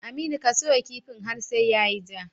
Aminu ka soya kifin har sai yayi ja